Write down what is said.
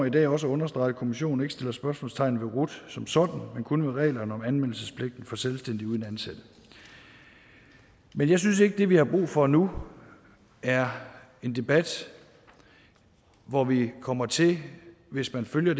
i dag også at understrege at kommissionen ikke sætter spørgsmålstegn ved rut som sådan men kun ved reglerne om anmeldelsespligten for selvstændige uden ansatte men jeg synes ikke at det vi har brug for nu er en debat hvor vi kommer til hvis man følger